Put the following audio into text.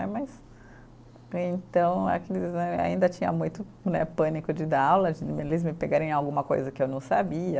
Né, mas, então, ainda tinha muito né, pânico de dar aula, de eles me pegarem em alguma coisa que eu não sabia.